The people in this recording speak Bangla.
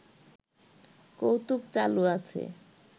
কৌতুক চালু আছে